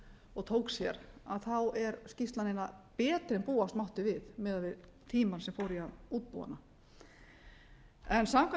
og tók sér er skýrslan eiginlega betri en búast mátti við miðað við tímann sem fór í að útbúa hana samkvæmt